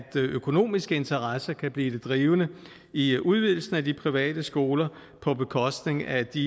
økonomiske interesser kan blive det drivende i udvidelsen af de private skoler på bekostning af de